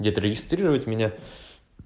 где-то регистрировать меня